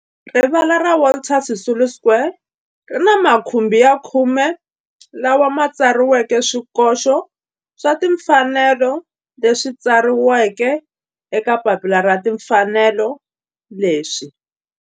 Rivala ra Walter Sisulu Square ri ni makhumbi ya khume lawa ma tsariweke swikoxo swa timfanelo leswi tsariweke eka papila ra timfanelo leswi.